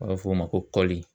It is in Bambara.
An b'a fɔ o ma ko kɔli.